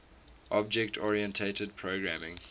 object oriented programming